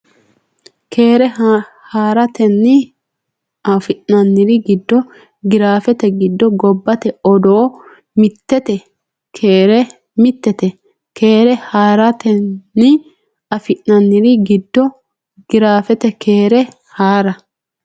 Keere haa ratenni afi nanniri giddo giraafete giddo gobbate odoo mittete Keere haa ratenni afi nanniri giddo giraafete Keere haa.